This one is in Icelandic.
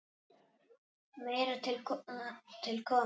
Meira til koma.